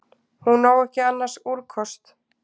Hún á ekki annars úrkosti.